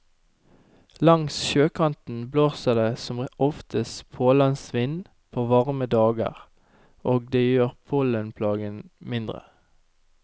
Langs sjøkanten blåser det som oftest pålandsvind på varme dager, og det gjør pollenplagen mindre.